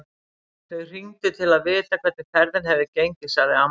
Þau hringdu til að vita hvernig ferðin hefði gengið, sagði amma.